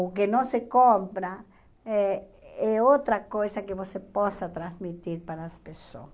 O que não se compra é é outra coisa que você possa transmitir para as pessoas.